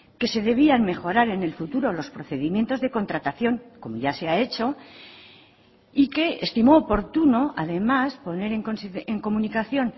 que se debían mejorar en el futuro los procedimientos de contratación como ya se ha hecho y que estimó oportuno además poner en comunicación